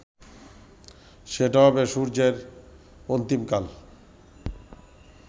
সেটা হবে সূর্যের অন্তিমকাল